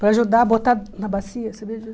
Para ajudar, botar na bacia, sabia disso?